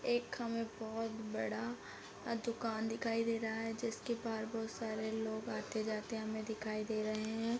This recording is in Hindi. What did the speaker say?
एक हमें बहोत बड़ा अ दुकान दिखाई रहा है जिसके बाहर बहोत सारे लोग आते-जाते हमें दिखाई दे रहे हैं।